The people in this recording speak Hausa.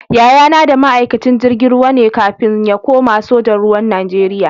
Yayana da ma'aikacin jirgin ruwa ne kafin ya kuma sojan ruwa Najeriya.